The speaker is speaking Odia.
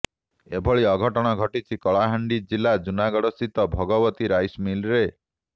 ଏଭଳି ଅଘଟଣ ଘଟିଛି କଳାହାଣ୍ଡି ଜିଲ୍ଲା ଜୁନାଗଡ଼ସ୍ଥିତ ଭଗବତୀ ରାଇସ୍ ମିଲରେ